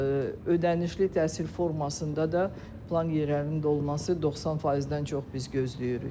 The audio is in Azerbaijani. Ödənişli təhsil formasında da plan yerlərinin dolması 90%-dən çox biz gözləyirik.